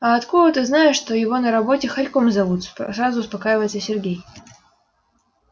а откуда ты знаешь что его на работе хорьком зовут сразу успокаивается сергей